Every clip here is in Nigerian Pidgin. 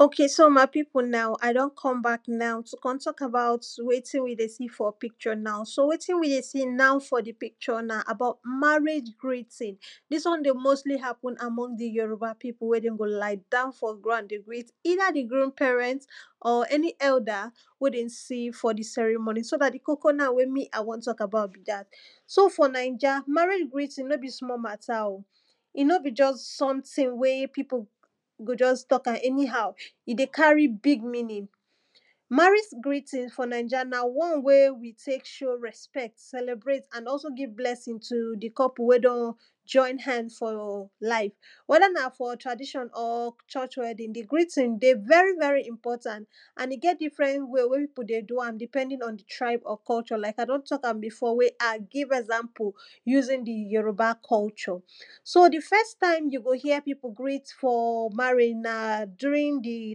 o?ke? so? ma?i? pi?pu? na?u? a? d??n k??m ba?k na?u? tu? k??m t??k a?ba?u?t we?ti?n wi? de? si? f?? pi?k??? na?u? so? we?ti?n wi? de? si? na?u? f?? di? pi?k??? na?u? na? ma?re?i?? gro?ti?n di?s w??n de? mo?sli? ha?pu?n a?m??n di? yo?ru?ba? pi?pu? we? de?n go? la?i? da?u?n f?? gra?nd de? we?i?t i?da? di? gru?m pe?r??nt?? ??ni? ??u?da? we? de? si? f?? di? s??ri?m??i? so? na? di? ko?ko? we? mi? a? w??n t??k a?ba?u?t so? f?? na?i??a? ma?re?i?? gri?ti?n no? bi? sm?? ma?ta? o? i? no? bi? ???s s??mti?n we? pi?pu? go? ???s t??ka?m ??ni?ha?u? i? de? ka?ri? bi?g mi?ni?n ma?re?i?? gri?ti?n f?? na?i??a? na? w??n we? wi? te?k ?o?u? r??sp??t s??l??bre?i?t a?n gi?v bl??si?n tu? di? k??pu? we? d??n ???i?n ha?n f?? la?i?n w??da? na? f?? tra?di????n?? f?????? w??di?n di? gri?ti?n de? vvi? v??ri? i?mp??a?nt a?n i? g??t di?fr??n we? we? pi?pu? de? du?a?m di?p??di?n ??n di? k????? la?i?k a? d??n t??ka?m bi?f?? a? gi? ??za?mpu? ju?si?n di? jo?ru?ba? k??u???? so? di? f??sta?i?m ju? go? je? pi?pu? gri?t f?? ma?re?i?? na? du?ri?n di?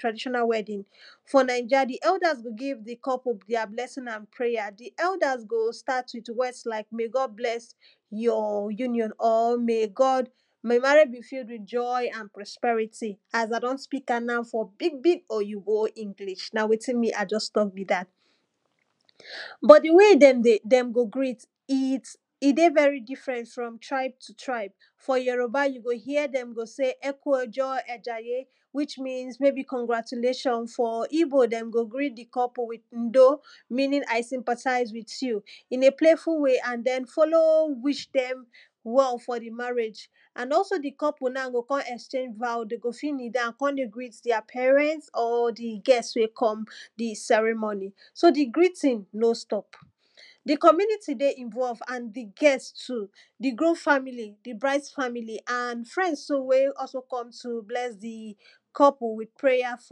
tra?di????na? w??di?n f?? na?i??a? di? h??u?da? go? gi?v di? k??pu? di?a? bl??si?n a?n pre?ja? di? ??u?da? go? sta?t wi?t w??s la?i?k me? g??d bl??s ju? j?? ju?ni???n?? me? j?? ma?r?i?? bi? fu?l wi?t ????i? a?n pro?sp??ri?ti? a?s a?sa? d??n si?ka?m na? f?? bi?g bi?g o?ji?bo? i?ngli?? na? a? ???s t??n bi?ga? b?? di? we? d??n go? gri?t i? de? vvi? di?fr??nt fr??m tra?i?b tu? tra?i?b f?? jo?ro?ba? ju? go? j?? d??m se? ??ku?? a??a?je? wi?? mi?ns k??ngra?tu?le????n f?? i?bo? d??n go? gri?t di? k??pu? u?do? mi?ni?n a?i? i?mpa?ta?i?z wi?t ju? i?n e? ple?i?fu? we? a?n d??n fo?lo?u? wi?? d??m w??u? f?? di? ma?re?i?? a?n ??so? di? k??pu? na?u? go? k??n ??s?e?i?? va?u? de? go? ni?da?u?n k??n de? gri?d di?a? pe?r??nt?? di? g??s we? k??m so? di? gri?ti?n no? st??p di? k??mi?ni?ti? de? i?v??v a?n di? g?? tu? di? gru?m fa?mi?li? a?n di? bra?i?d fa?mi?li? a?n fr??ns tu? we? ??so? k??m tu? bl??s di? k??pu? wi?t pre?ja? f??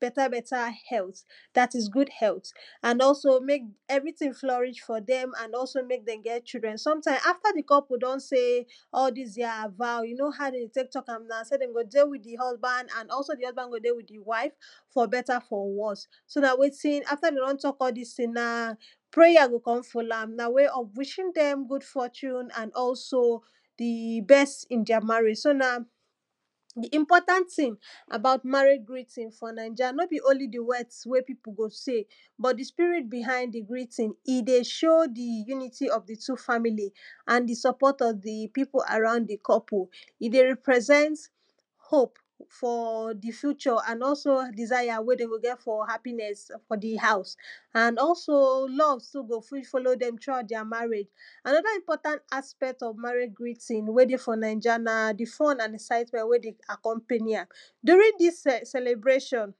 b??t? b??ta? h??u?t da?t i?s gu?d h??u?t a?n ??so? me?k ?ni?ti?n fl??ri?? f?? d??m a?n ??so? a?fta? di? k??pu? d??n se??? di? di?a? va?u? ju? no? a?u? de? te?k t??ka?m so? d??n go? de? wi?t di? h??sba?n a?n ?so? di? h??sba?n go? de? wi?t di? wa?i?f f?? b??ta? f?? w??s a?ta? de? d??n t??k a? di?s ti?n na? pre?ja?s go? k??n fo?lo? a?m na? we? ??f wi??i?n d??m gu?d f??tu?n di? b??s i?n di?a? ma?re?i?? so? na?u? di? i?mp??ta?nt ti?n a?ba?u?? ma?re?i?? gri?ti?n f?? na?i??a? no? bi? o?nli? di? w??ds we? pi?pu? go? se? b?? di? spi?ri?t bi?ha?i?nd di? gri?ti?n i? de? ?o? di? ju?ni?ti? ??f di? tu? fa?mi?li?s a?? di? s??p??t ??f di? pi?pu? a?ra?u?nd di? k??pu? i? de? ri?pr??s??nt ho?p f?? di? fu???? a?n ??so? di?sa?ja? we? d??n go? ge?t f?? ha?pi?n??s f?? di? ha?u?s a?n ??so? l??v go? fi? fo?lo? d??m tru? a?u?t di?a? ma?re?i?? a?n??da? i?mp??ta?nt ??f ma?re?i?? gri?ti?n we? de? f?? na?i??a? na? di? f??n a?n ??sa?i?tm??nt we? de? fo?lo? a?m du?ri?n di?s se?l??bre????n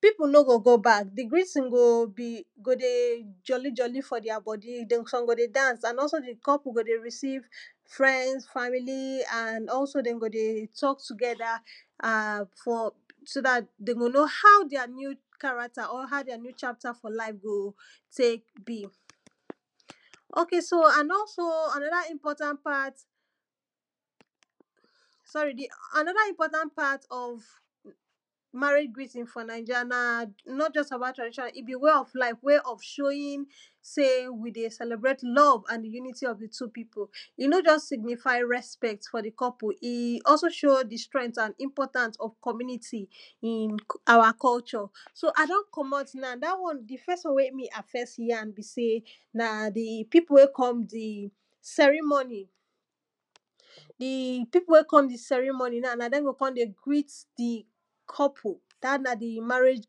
pi?pu? no? go? go? ba?k di? gri?ti?n go? de? ???li? ???li? f?? di?a? b??di? s??m go? de? da?ns a?n ??so? di? k??pu? go? de? ri?si?v fr??ns fa?mi?li?s a?n ??so? d??n go? de? t??k tu?g??da? a?n f?? so? da? d??n go? no? ha?u? di?a? ni?u? ka?ra?kta??? ha?u? di?a? ni?u? la?i?f go? te?k bi? o?k so? a?n ??so? a?n??da? i?mp??ta?nt pa?t s??ri? a?n??da? i?mp??ta?nt pa?t ??f ma?re?i?? gri?ti?n f?? na?i??a? n?? j??s tra?di????na? i? bi? we? ??f la?i?f ??f ?o?ji?n se? wi? de? s??l??bre?i?t l??v a?n ju?ni?ti? ??f tu? pi?pu? i? no? ???s si?gni?fa?i? r??sp??t f?? di? k??pu? i? ??so? ?o?u? di? str??nt a?n i?mp??ta?ns ??f k??mi?ni?ti? ??f a?wa? k??u???? so? a? d??n k??m??t na?u? di? f??s w??n we? mi? a? f??s ja?m bi? se? na? di? pi?pu? we? k??m di? s??ri?m??ni? di? pi?pu? we? k??m di? s??ri?m??ni? na?u? na? d??m go? k??n de? gri?t di? k??pu? da? na? di? ma?re?i??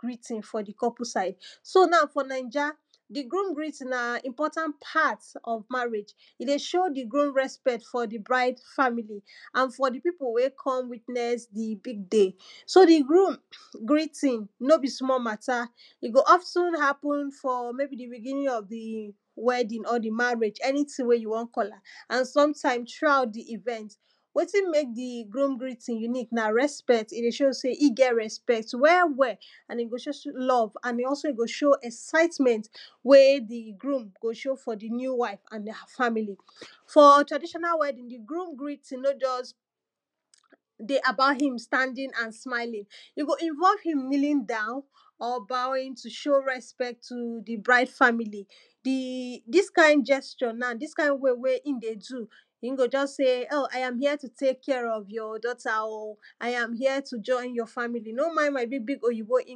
gri?ti?n f?? di? k??pu? sa?i?d so? na? f?? na?i??a? di? gru?m gri?ti?n na? di? i?mp??ta?nt pa?t?? ma?re?i?? i? de? ?o?u? di? gru?m r??sp??t f?? di? bra?i?d fa?mi?li? a?n f?? di? pi?pu? we? k??m wi?tn??s di? bi?g de? so? di? ho?m gri?ti?n no? bi? sm?? ma?ta? i? go? ??so? ha?pu?n f?? me?bi? di? bi?gi?ni?n ??f di? w??di?n?? di? ma?re?i?? ??ni?ti?n we? ju? w??n k??la?m a?n s?mta?i?ms tru?a?u?t di? i?v??nt we?ti?n me?k di? gru?m gri?ti?n ju?ni?k se? i? de? ?o?u? r??sp??t i? de? ?o?u? se? i?n g?? r??sp??t i? go? ?o?u? l??v we? di? gru?go? ?o?u? f?? di? ni?u? wa?i?f a?n di?a? fa?mi?li? f?? tra?i????na? w??di?n di? gru?m gri?ti?n no? ???s de? a?ba?u? hi?m sata?ndi?n a?n sma?i?i?n i? go? i?nv??u? i?m li?li?n da?u?n?? ba?wi?n tu? ?o?u? r??sp??t tu? bra?i?ds fa?mi?li? di?s ka?i? ???s??? na? di?s ka?i?n we? we? i?n de? du? hi?n go? ???s se? o?u? a? a?m je? tu? te?k ki??? ??f j?? d??ta? o? a? ja?m j?? tu? ???i?n j?? fa?mi?ili? no? ma?i?n ma? bi? bi?g o?ji?bo? o? s??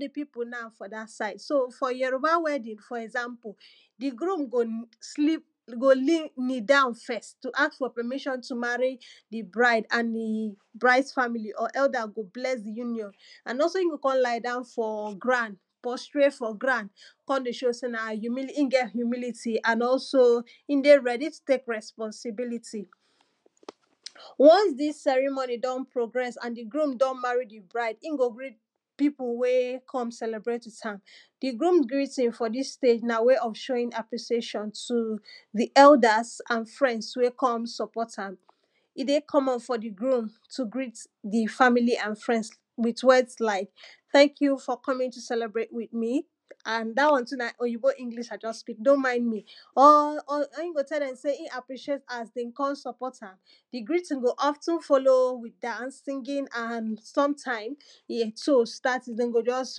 di? pi?pu? na?u? f?? da? sa?i?d so? f?? jo?ro?ba? w??di?n f?? ??za?mpu? di? gru?m go? li?da?u?n f??s tu? a?s p??mi????n tu? ma?ri? bra?i?ds fa?mi?li??? e?u?da? go? bl??s di? ju?ni???n a?n ??so? i?n go? k??n la?i? da?u?n f?? gra?n k??n p??stre?i?t f?? gra?n k??n de? ?o? se? na? hi?n ge?t ju?mi?li?ti? a?n ??so? i?n de? r??di? tu? te?k r??sp??nsi?bi?liti? w??ns di?s s??ri?m??ni? d??n pro?gr??s a?n di? gru?m d?m ma?ri? di? bra?i?d hi?m go? bri?ng pi?pu? we? k??m s??l??bre?i?t wi?t a?m di? gru?m gri?ti?n f?? di?s ple?i?s na? we? ??f ?o?wi?n a?pri??e????nn tu? di? ??u?da?s a?n fr??ns we? k??m s??p??ta?m i? de? k??m??n f?? di? gru?m tu? gri?t di? f?mi?li? a?n fr??ns wi?t w??ds la?i?k t??kju? f?? k??mi?n tu? s??l??bre?i?t mi? a?n da?w??n tu? na? o?ji?bo? i?ngli?? a?i? ???s spi?k no? ma?i? mi? ??l hi?m go? t?? d??m se? i?n a?pri??e?t a?s de?n k??n s??p??ta?m di? gri?ti?n de? ??fti?n fo?lo?u? wi?t da?ns di? tu? sta? go? ???s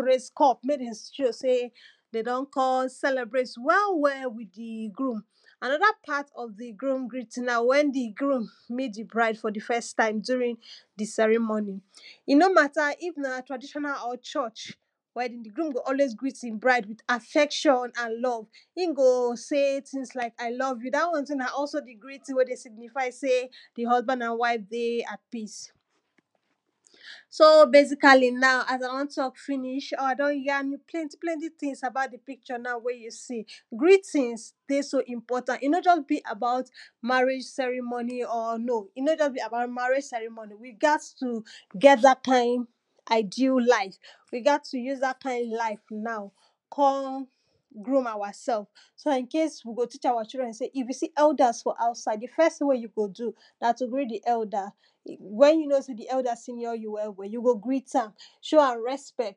re?i?s k??m me?k d??n ?o?u? se? de? d??n k??m s??l??bre?i?t w??w?? wi?t di? gru?m a?n??da? pa?t ??f di? gru?m gri?ti?n na? w??n di? gru?m mi?t di? bra?i?d f?? di? f??s ta?i?m f?? di? s??ri?m??ni? i? no? ma?ta? i?f na? tra?di????na??? ???u?? di? gru?m go? ??we?i?s gri?t i?n bra?i?d wi?t a?f?n a?n l??v hi?n go? se? ti?n la?i a?i? l??v ju? da? w??n tu? na? ??so? di? gri?ti?n we? de? si?gni?fa?i? se? di? h??sba?n a?n wa?i?f de? a?t pi?s so? be?si?ka?li? na?u? pl??nti? pl??nti? ti?n a?ba?u?t di? pi?k??? na?u? we? ju? se? gri?ti?n de? so? i?mp??ta?nt i? no? ???s bi? a?ba?u?t ma?re?i?? s??ri?m??ni??? ri?ga?ds tu? g?? da? ka?i?n a?i?di?u? la?i?f wi? ga?t tu? ju?s da? ka?i?n la?i?f na? gru?m a?wa? s??f so? da? i?nke?i?s wi? go? ti?? a?wa? ?i?dr??n se? i?f wi? se? ??u?da?s f?? a?u?sa?i?d di? f??s ti?n we? ju? go? du? na? tu? gri?t di? ??u?da? we?n ju? no? se? di? ??u?da? si?ni?? ju? w?? w?? na? tu? gri?ta?m ?o?u? a?m r??sp??t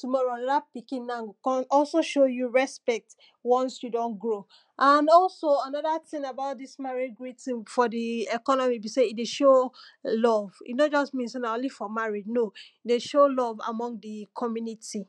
tu?mo?ro? ??da? pi?ki?n na? go? ??so? ?o?u? ju? r??sp??t w??ns ju? d??n gro?u? a?n ??u?so? a?n??da? ti?n e?ba?u?t?? di?s ma?re?i?? gri?ti?n f?? di? ??k??n??mi? bi? se? i? de? ?o?u? l??v i? no? ???s mi?n f?? o?nli? di? fa?mi?li? no? i? de? ?o?u? l??v f?? di? k??mi?ni?ti? ok so my pipu now i don come back now to kon talk about wetin we ey see for pic tur now so wetin we dey see no for di picture now na marriage greeting. dis won dey mostly happen among di yoruba pipu we di groom go ie down for groom dey wait either di groom parent or any elder, we dey see for di ceremony. so na di kok na we me i won talk about be dat. so for ninja, marriage greeting no be small oh e no be just something we pipu go just talk am anyhow e dey carry big meaning, marriage greeting for ninja na won wey we tek show repect celebrate and also give blessing to di couple we don join hand for life. weda na for church wedding, di greeting dey very very important. and e get different way we pipu dey do am depending on di tribe or culture like i do talk am before we a give example using di yorub culture so di first time you go hear pipu going for marriage na during di traditional wedding. for ninja, di elders go give di couple their blessing and prayers. di elder go start with words like may God bless you your union or may your marriage be filled with joy an prosperity as a don speak am now for big big oyinbo english na wetin me i just talk be dat but di way dem go greet, e dey very different from tribe to tribe for yoruba, you go hear den go sey eku ojo ajaye which means maybe congratulations igbo you go hear undo meaning i sympathize with you in a payful way and den follow wish dem well for di marriage. and also di couple now go kon exchange vow kon dey greet thir parents or di guest we come di ceremony. so di greeting no stop. di comomunity dey involved and di guest too di groom family and di bride's family and friends too we come to bless di couple with prayer for beta beta health dat is good health. and also mek everyting florish for dem and also mek den get childrnsometimes after di couple don sey all dis their vow you kow how den dey tek talk am na sey den go dey with th eir husband and di husband go dey with the wife for beta for worse so dat wetin after de don talk all dis tin na prayer go kon follow am na way of wishing dem good ortune and also di best in their marriage so now di important tin about mariage greeting for ninja, no be only di words we pipu go sey but di spirit behind di greeting. e dey show di unity of di two families and di support of di pipu around di couple. e dey represent hope for di future and also desire we dey go get for their hapiness for di new house and also love go follow dem for their marriage anoda importand aspect of marriage greeting we dey for ninja na di fun and excitement we dey accompany am na during dis celebration, pipu no go go back, di greeting go dey joli joli for their bodi some go dey dance and also di couple go dey recieve friemnds, family and also den go dey talk togther and for so dat de mey know how their new character or how their new life go tek be. ok so an also anoda important part sorryanoda important part of marriage greeting for ninja na not just about but na di wey of showing sey we dey celebrate love and union between two pipu i no just signify respect for di couple but e dey show di strength and important of community in our culture so a don commot na di first won we me a fes yan na di pipu wey come di ceremoni di pipu wey come di ceremony na dem go kon dey greet di couple di marriage greeting for di couple side so now for ninja di groom greeting na di important part of marriage e dey show di groom respect foir di bride family and for di pipu wey come withness di big day. so di home greeting no be small mata. e go also happen for maybe at for begining of di wedding or di marriage anytin wey you won call am an sometimes throughout di even, wetin mek di groom greeting unique na respect e dey show sey e get respect wel wel and e go show love and e also e go show excitement we di groom go show for di new wif and her family. for traditinal wedding, d groom greeting no jus dey about him standing and smiling. e go if you won him kneeling downor bowing to show respect to di bride family, di dis kind guesture na dis kind wey wey hin dey do, e go just sey o i am here to tek care of your daughter oh i a here to join your family. no mind my big big oyinbo english so na wetin di groom na go fi sell di pipu na for dat side. so na for yoruba wedding na for dat side for example di groom go knee down first to ask for permission to marry di bride and he bride's family and elders go bless di union. amd also e go kon lie down for ground postrate for ground kon dy how sey na hin get humility an also e dey ready to tek responsibility once dis ceremony don progres and di groom don marry di bride, gim go bring pipu wey come celebrate with am di groom greeting for this stage na way of showing appreciation to di elders and friends wey come support am e dey common for di groom to greet di family and friends with wortds like thank you for coming to celebrate me, and da won too na oyibo english i jusst speak no mind me. hin go tell dem sey e appreciate as den kon support amdi greeting de of ten follow with dance. di two start dey go just raise cup mek den show sey de don come celebrate well well with di groom anoda part of di groom greeting na wen di groom meet di bride for di first for di ceremony e no mata if na traditional or church, di groom go always greet hin bride with affection and love, hin go say things like ilove you da won too na also di greeting we dey signify sey di husband and wife dey at peace. so basically now as i don tak finish plenty tins about di picture na wey you see greetings dey so important e no just be about marriage cermony or no e no just be about marriage ceremoni we gats to get dat kind ideal life we gat to use dat kin lie na kon groom ourself so dat incase we go teach our children if you see elders for outside, di fes wey you go do na to greet di elder wenyou know sey di elder senior you well well show am respect so dat tomorrow anoda pikin na go also show you respect once you don grow. and also anoda tin about dis marriage greting for di economy be sey e dey show love e no just mean sey na only for marriage no e dey show love for among di community.